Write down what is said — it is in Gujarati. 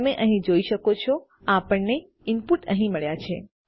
તમે અહીં જોઈ શકો છો આપણને આપણા ઇનપુટ અહીં મળ્યા છે